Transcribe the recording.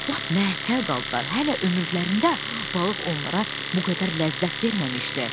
Lap məəttəl qaldılar, hələ ömürlərində balıq onlara bu qədər ləzzət verməmişdi.